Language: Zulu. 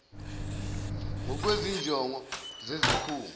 ngokwezi njongo zesikhungo